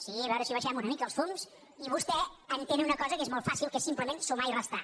sí a veure si abaixem una mica els fums i vostè entén una cosa que és molt fàcil que és simplement sumar i restar